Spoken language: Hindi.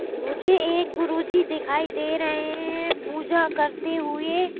मुझे एक गुरुजी दिखाई दे रहे हैं पूजा करते हुए--